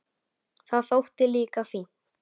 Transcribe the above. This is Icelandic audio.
Það þótti líka fínt.